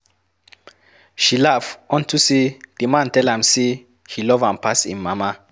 She laugh unto say the man tell am say he love am pass im mama